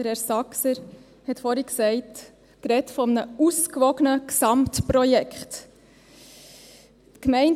Herr Saxer hat vorhin von einem «ausgewogenen Gesamtprojekt» gesprochen.